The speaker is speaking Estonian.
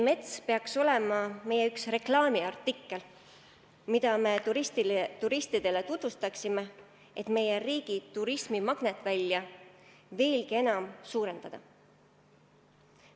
Mets peaks olema üks meie reklaamiartikkel, mida me turistidele tutvustame, et meie riigi turismimagnetvälja veelgi enam suurendada.